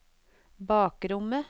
bakrommet